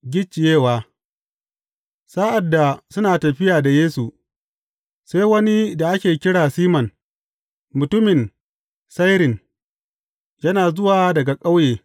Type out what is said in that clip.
Gicciyewa Sa’ad da suna tafiya da Yesu, sai wani da ake kira Siman, mutumin Sairin, yana zuwa daga ƙauye.